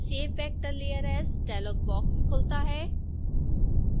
save vector layer as … dialog box खुलता है